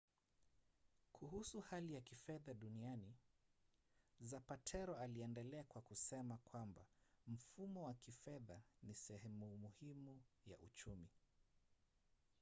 kuhusu hali ya kifedha duniani zapatero aliendelea kwa kusema kwamba mfumo wa kifedha ni sehemu muhimu ya uchumi